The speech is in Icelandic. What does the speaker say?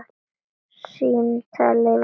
Símtal yfir flóann